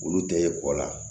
Olu tɛ kɔ la